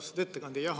Austatud ettekandja!